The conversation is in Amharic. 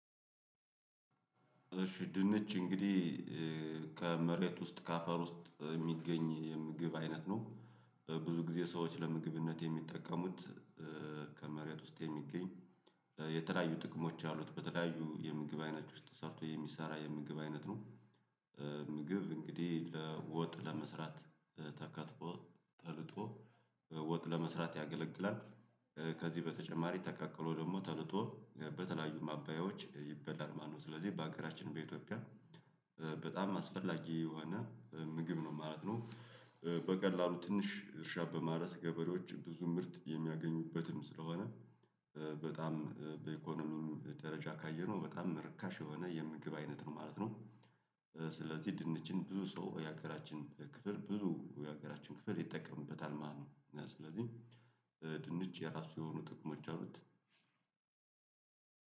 እሺ ድንች እንግዲህ ከመሬት ውስጥ ከአፈር ውስጥ የሚገኝ የምግብ አይነት ነው። ብዙ ጊዜ ሰዎች ለምግብነት የሚጠቀሙት። ከመሬት ውስጥ የሚገኝ የተለያዩ ጥቅሞች አሉት በተለያዩ የምግብ አይነት ውስጥ ተጨምሮ የሚሰራ የምግብ አይነት ነው። ድንች እንግዲህ ወጥ ለመስራት ተከትፎ ተልጦ ወጥ ለመስራት ያገለግላል። ከዚህ በተጨማሪ ተቀቅሎ ደግሞ ተልጦ በተለያዩ ማባያዎች ይበላል ማለት ነው። ስለዚህ በሀገራችን በኢትዮጵያ በጣም አስፈላጊ የሆነ ምግብ ነው ማለት ነው። በቀላሉ ትንሽ እርሻ በማረስ ገበሬዎች ብዙ ምርት የሚያገኙበትም ስለሆነ በጣም በኢኮኖሚም ደረጃ ካየነው በጣም ርካሽ የሆነ የምግብ አይነት ነው ማለት ነው። ስ ስለዚህ ድንችን ብዙ ሰው የሀገራችን ክፍል ይጠቀምበታል ማለት ነው። ስለዚህ ድንች የራሱ የሆኑ ጥቅሞች አሉት።